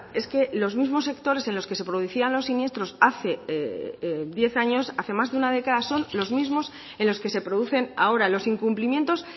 es que los mismos sectores en los que se producían los siniestros hace diez años hace más de una década son los mismos en los que se producen ahora los incumplimientos